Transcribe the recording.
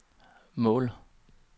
mål